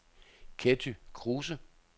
Ketty Kruse